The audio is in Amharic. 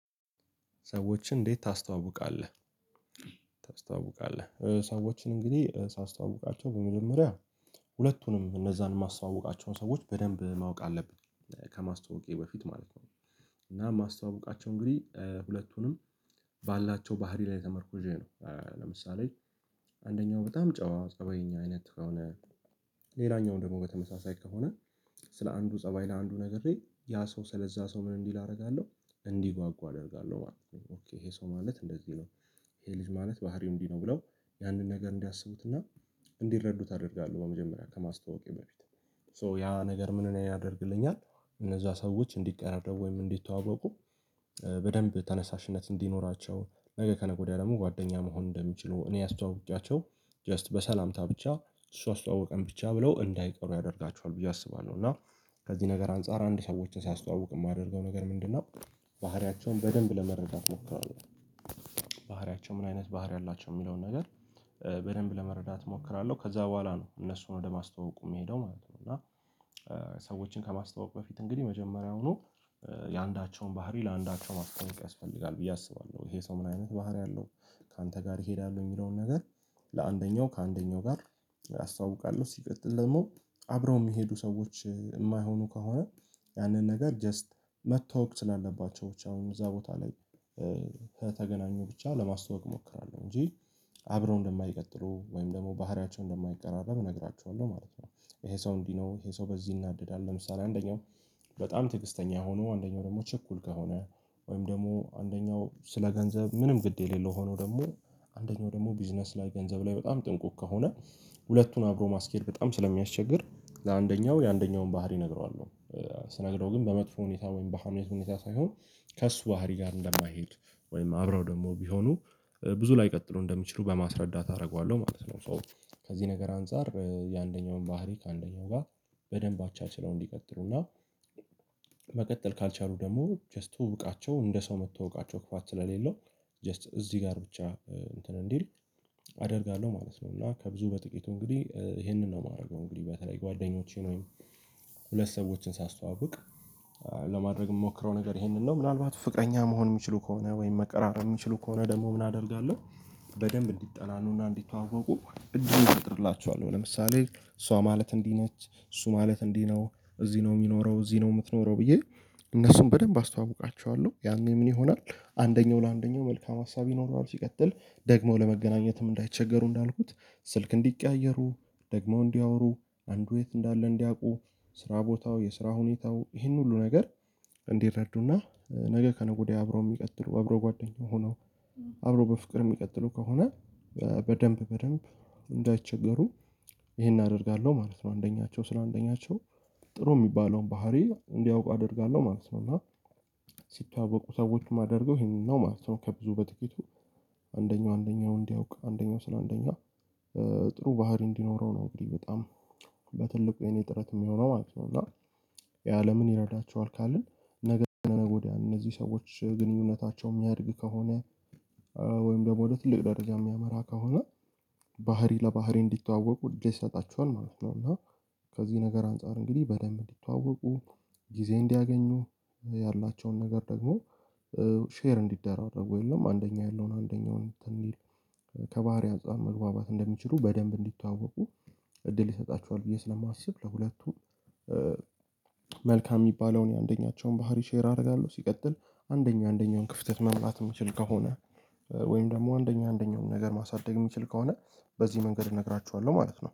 ሰዎችን እንዴት ታስተዋውቃለህ? ታስተዋውቃለህ ሰወችን እንግዲህ ሳስተዋውቃቸው በመጀመሪያ ሁለቱንም እነዛን የማስተዋውቃቸውን ሰዎች በደንብ ማወቅ አለብኝ ከማስተዋወቄ በፊት ማለት ነው። እና ማስተዋወቃቸው እንግዲህ ሁለቱንም ባላቸው ባህሪ ላይ ተመርኩዤ ነው። ለምሳሌ አንደኛው በጣም ጨዋ ፀባይኛ አይነት ከሆነ ሌላኛው ደግሞ በተመሳሳይ ከሆነ ስለ አንዱ ፀባይ ለአንዱ ነግሬ ያ ሰው ስለዛ ሰው ምን እንዲህ ላደርጋለሁ እንዲጓጓ አደርጋለሁ ማለት ነው ኦኬ ይሄ ሰው ማለት እንደዚህ ነው። ይሄ ልጅ ማለት ባህሪው እንዲህ ነው ብለው ያንን ነገር እንዲያስቡትና እንዲረዱት አደርጋለሁ። በመጀመሪያ ከማስተዋወቄ በፊት ሶ ያ ነገር ምን እኔ እነዛ ሰዎች እንዲቀራረቡ ወይም እንዲተዋወቁ በደንብ ተነሳሽነት እንዲኖራቸው ነገ ከነገ ወዲያ ደግሞ ጓደኛ መሆን እንደሚችሉ እኔ ያስተዋውቃቸው ጀስት በሰላምታ ብቻ እሱ አስተዋወቀን ብቻ ብለው እንዳይቀሩ ያደርጋቸዋል ብዬ አስባለሁ። እና ከዚህ ነገር አንፃር አንድ ሰዎችን ሳያስተዋውቅ የማደርገው ነገር ምንድነው? ባህሪያቸውን በደንብ ለመረዳት ሞክራለሁ። ባህሪያቸው ምን አይነት ባህሪ አላቸው የሚለውን ነገር በደንብ ለመረዳት እሞክራለሁ ከዛ በኋላ ነው እነሱን ወደ ማስተዋወቁ የሚሄደው ማለት ነው። እና ሰዎችን ከማስተዋወቅ በፊት እንግዲህ የመጀመሪያውኑ የአንዳቸውን ባህሪ ለአንዳቸው ማስተዋወቅ ያስፈልጋል ብዬ አስባለሁ። ይሄ ሰው ምን አይነት ባህሪ አለው ካንተ ጋር ይሄዳል ወይ የሚለውን ነገር? ለአንደኛው ከአንደኛው ጋር አስተዋውቃለሁ ሲቀጥል ደግሞ አብረው የሚሄዱ ሰዎች የማይሆኑ ከሆነ ያንን ነገር ጀስት መተዋወቅ ስላለባቸው ብቻ እዛ ቦታ ላይ ከተገናኙ ብቻ ለማስተዋወቅ እሞክራለሁ እንጂ አብረው እንደማይቀጥሉ ወይም ደግሞ ባህሪያቸው እንደማይቀራረብ እነግራችኋለሁ ማለት ነው። ይሄ ሰው እንዲህ ነው ይሄ ሰው በዚህ ይናደዳል ለምሳሌ አንደኛው በጣም ትዕግስተኛ ሆኖ አንደኛው ደግሞ ችኩል ከሆነ ወይም ደግሞ አንደኛው ስለ ገንዘብ ምንም ግድ የሌለው ሆኖ ደግሞ አንደኛው ደግሞ ቢዝነስ ላይ ገንዘብ ላይ በጣም ጥንቁቅ ከሆነ ሁለቱን አብሮ ማስኬድ በጣም ስለሚያስቸግር ለአንደኛው የአንደኛውን ባህሪ እነግረዋለሁ ስነግረው ግን በመጥፎ ሁኔታ ወይም በሀሜት ሁኔታ ሳይሆን ከእሱ ባህሪ ጋር እንደማይሄድ ወይም አብረው ደግሞ ቢሆኑ ብዙ ላይቀጥለው እንደሚችሉ በማስረዳት አደርገዋለሁ ማለት ነው። ሶ ከዚህ ነገር አንፃር የአንደኛውን ባህሪ ከአንደኛው ጋር በደንብ አቻችለው እንዲቀጥሩና መቀጠል ካልቻሉ ደግሞ ጀስት ትውውቃቸው እንደ ሰው መተዋወቃቸው ክፋት ስለሌለው ጀስት እዚህ ጋር ብቻ እንትን እንዲል አደርጋለሁ ማለት ነው። እና ከብዙ በጥቂቱ እንግዲህ ይሄንን ነው የማደርገው እንግዲህ በተለይ ጓደኞቼን ወይም ሁለት ሰዎችን ሳስተዋውቅ ለማድረግ የምሞክረው ነገር ይሄንን ነው ምናልባት ፍቅረኛ መሆን የሚችሉ ከሆነ ወይም መቃራረበ የሚችሉ ከሆነ ደግሞ ምን አደርጋለሁ። በደንብ እንዲጠናኑና እንዲተዋወቁ እጅግ እጠጥርላችኋለሁ ለምሳሌ እሷ ማለት እንዲህ ነች እሱ ማለት እንዲህ ነው እዚህ ነው የሚኖረው እዚህ ነው የምትኖረው ብዬ እነሱን በደንብ አስተዋውቃቸዋለሁ ያኔ ምን ይሆናል አንደኛው ለአንደኛው መልካም ሀሳብ ይኖረዋል ሲቀጥል ደግሞ ለመገናኘትም እንዳይቸገሩ እንዳልኩት ስልክ እንዲቀያየሩ ደግሞ እንዲያወሩ አንዱ የት እንዳለ እንዲያውቁ ስራ ቦታው የስራ ሁኔታው ይሄን ሁሉ ነገር እንዲረዱና ነገ ከነገ ወዲያ አብሮ የሚቀጥሉ አብሮ ጓደኛው ሆነው አብሮ በፍቅር የሚቀጥሉ ከሆነ በደንብ በደንብ እንዳይቸገሩ ይሄን አደርጋለሁ ማለት ነው። አንደኛቸው ስለ አንደኛቸው ጥሩ የሚባለውን ባህሪ እንዲያውቅ አደርጋለሁ ማለት ነው። እና ሲተዋወቁ ሰዎችም አድርገው ይሄንን ነው ማለት ነው ከብዙ በጥቂቱ አንደኛው አንደኛውን እንዲያውቅ አንደኛው ስለ አንደኛ ጥሩ ባህሪ እንዲኖረው ነው እንግዲህ በጣም በትልቁ የኔ ጥረት የሚሆነው ማለት ነው። እና የአለምን ይረዳቸዋል ካልን ነገ ከነገወዲያ እነዚህ ሰዎች ግንኙነታቸው የሚያድግ ከሆነ ወይም ደግሞ ወደ ትልቅ ደረጃ የሚያመራ ከሆነ ባህሪ ለባህሪ እንዲተዋወቁ እደል ይሰጣዋል ማለት ነው። እና ከዚህ ነገር አንፃር እንግዲህ በደንብ እንዲተዋወቁ ጊዜ እንዲያገኙ ያላቸውን ነገር ደግሞ ሼር እንዲደራረጉ የለም አንደኛ ያለውን አንደኛውን እንትን ይል ከባህሪ አጻር መግባባት እንድችሉ በደንብ እንዲታወቁ እድል ይሰጣቸዋል። ብዬ ስለማስብ ለሁለቱም መልካም የሚባለውን የአንደኛቸውን ባህሪ ሼር አደርጋለሁ ሲቀጥል አንደኛ አንደኛውን ክፍተት መሙላት የሚችል ከሆነ ወይም ደግሞ አንደኛ አንደኛውን ነገር ማሳደግ የሚችል ከሆነ በዚህ መንገድ እነግራችኋለሁ ማለት ነው